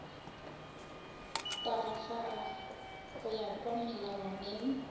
tagafara go ya ka molawana